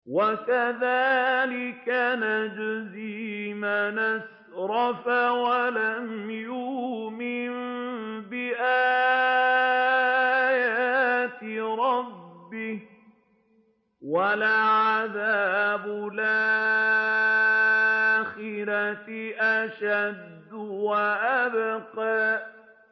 وَكَذَٰلِكَ نَجْزِي مَنْ أَسْرَفَ وَلَمْ يُؤْمِن بِآيَاتِ رَبِّهِ ۚ وَلَعَذَابُ الْآخِرَةِ أَشَدُّ وَأَبْقَىٰ